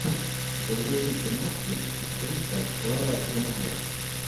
загрузи киношки актриса клара румянова